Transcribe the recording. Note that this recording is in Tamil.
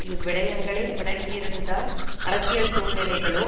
இவ்விடயங்களை விளங்கியிருந்திருந்தால் அரசியல் சூழ்நிலைகளோ